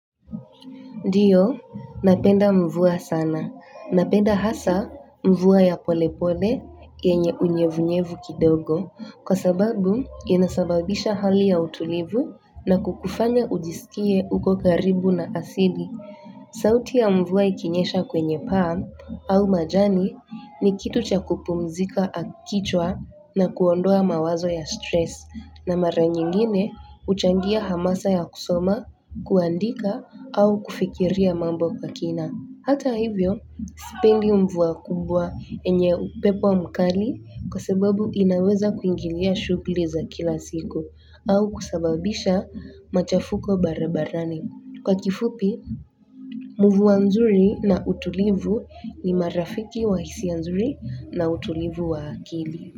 Ndiyo, napenda mvua sana. Napenda hasa mvua ya polepole yenye unyevunyevu kidogo. Kwa sababu, inasababisha hali ya utulivu na kukufanya ujisikie uko karibu na asili. Sauti ya mvua ikinyesha kwenye paa au majani ni kitu cha kupumzika kichwa na kuondoa mawazo ya stress. Na mara nyingine huchangia hamasa ya kusoma, kuandika, au kufikiria mambo kwa kina. Hata hivyo, sipendi mvua kubwa yenye upepo mkali kwa sababu inaweza kuingilia shughuli za kila siku au kusababisha machafuko barabarani. Kwa kifupi, mvua nzuri na utulivu ni marafiki wa hisia nzuri na utulivu wa akili.